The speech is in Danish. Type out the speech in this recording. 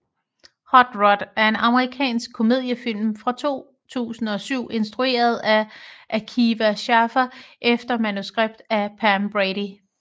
Hot Rod er en amerikansk komediefilm fra 2007 instrueret af Akiva Schaffer efter manuskript af Pam Brady